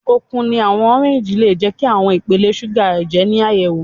Okun ni awọn oranges le jẹ ki awọn ipele suga ẹjẹ ni ayẹwo